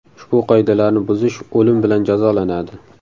Ushbu qoidalarni buzish o‘lim bilan jazolanadi.